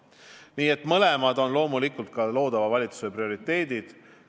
Nii et mõlemad liinid on loomulikult ka loodava valitsuse prioriteedid.